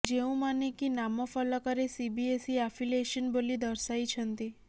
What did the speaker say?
ଯେଉଁମାନେ କି ନାମ ଫଳକରେ ସିବିଏସ୍ଇ ଆଫିଲେସନ୍ ବୋଲି ଦର୍ଶାଇଛନ୍ତି